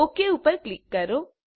okay ઉપર click કરો